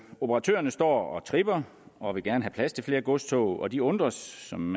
operatørerne står og tripper og vil gerne have plads til flere godstog og de undres som